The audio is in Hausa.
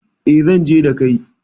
E, zan je da kai.